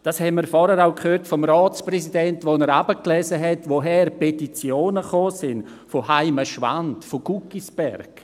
Das haben wir vorhin auch vom Ratspräsidenten gehört, als er vorlas, woher die Petitionen gekommen sind: aus Heimenschwand, aus Guggisberg.